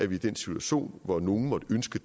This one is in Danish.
vi i den situation hvor nogle måtte ønske